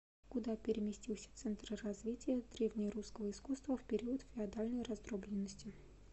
куда переместился центр развития древнерусского искусства в период феодальной раздробленности